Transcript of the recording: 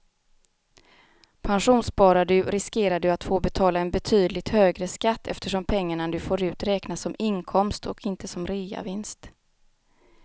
Pensionssparar du riskerar du att få betala en betydligt högre skatt eftersom pengarna du får ut räknas som inkomst och inte som reavinst.